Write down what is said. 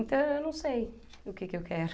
Então eu não sei o que que eu quero.